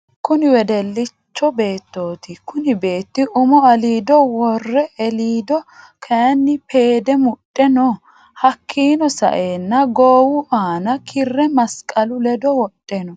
Kunni wedellicho beetoti kunni beetti umo aliido worre eelido kayiini peede mudhe no hakiino sa'eena goowu aana kirre masiqalu ledo wodhe no.